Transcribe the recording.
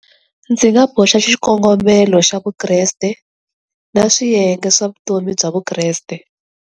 Ndzi nga boxa xikongomelo xa Vukreste na swiyenge swa vutomi bya Vukreste.